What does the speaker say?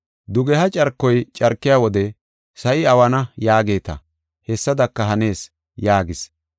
Dugeha carkoy carkiya wode ‘Sa7i awana’ yaageeta, hessadaka hanees” yaagis.